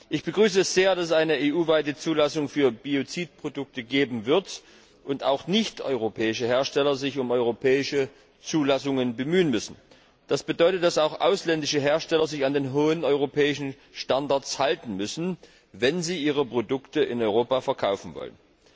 Ich begrüße es sehr, dass es eine EU weite Zulassung für Biozidprodukte geben wird, und sich auch nichteuropäische Hersteller um europäische Zulassungen bemühen müssen. Das bedeutet, dass auch ausländische Hersteller sich an die hohen europäischen Standards halten müssen, wenn sie ihre Produkte in Europa verkaufen wollen.